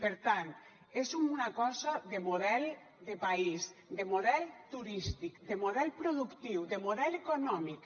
per tant és una cosa de model de país de model turístic de model productiu de model econòmic